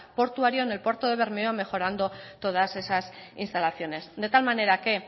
portuario en el puerto de bermeo mejorando todas esas instalaciones de tal manera que